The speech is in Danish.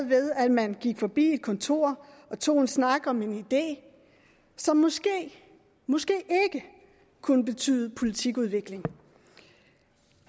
ved at man gik forbi et kontor og tog en snak om en idé som måske måske ikke kunne betyde politikudvikling